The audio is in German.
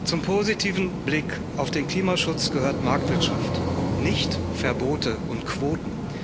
Zum positiven Blick auf den Klimaschutz gehört Marktwirtschaft, nicht Verbote und Quoten.